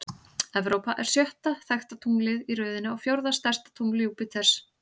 Evrópa er sjötta þekkta tunglið í röðinni og fjórða stærsta tungl Júpíters.